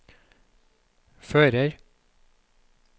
fører